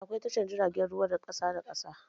Akwai tashar jiragen ruwa na kasuwa da na ƙasa da ƙasa